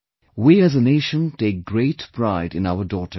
We as a nation take great pride in our daughters